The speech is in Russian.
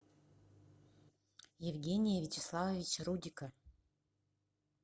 евгения вячеславовича рудика